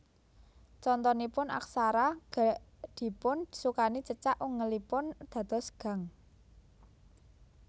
Contonipun aksara ga dipun sukani cecak ungelipun dados gang